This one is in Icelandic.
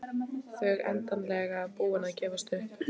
Þau endanlega búin að gefast upp.